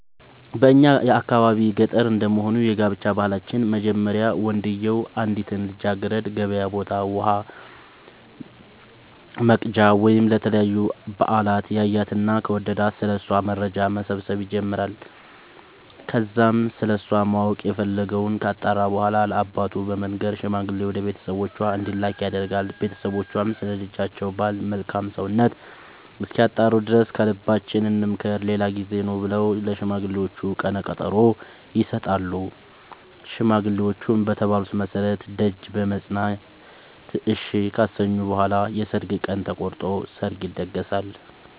በእኛ የአካባቢ ገጠር እንደመሆኑ የጋብቻ ባህላችን መጀመሪያ ወንድዬው አንዲትን ልጃገረድ ገበያ ቦታ ውሃ ወቅጃ ወይም ለተለያዩ በአላት ያያትና ከወደዳት ስለ እሷ መረጃ መሰብሰብ ይጀምራይ ከዛም ስለሷ ማወቅ የፈለገወን ካጣራ በኋላ ለአባቱ በመንገር ሽማግሌ ወደ ቤተሰቦቿ እንዲላክ ያደርጋል ቦተሰቦቿም ስለ ልጃቸው ባል መልካም ሰውነት እስኪያጣሩ ድረስ ከልባችን እንምከር ሌላ ጊዜ ኑ ብለው ለሽማግሌዎቹ ቀነቀጠሮ ይሰጣሉ ሽማግሌዎቹም በተባሉት መሠረት ደጅ በመፅና እሺ ካሰኙ በኋላ የሰርግ ቀን ተቆርጦ ሰርግ ይደገሳል።